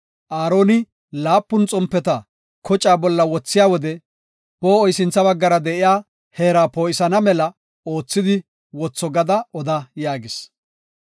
“Aaroni laapun xompeta kocaa bolla wothiya wode poo7oy sintha baggara de7iya heera poo7isana mela oothidi wotho gada oda” yaagis.